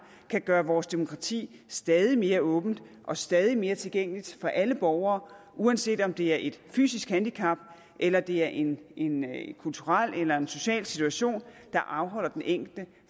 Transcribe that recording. kan gøre vores demokrati stadig mere åbent og stadig mere tilgængeligt for alle borgere uanset om det er et fysisk handicap eller det er en en kulturel eller en social situation der afholder den enkelte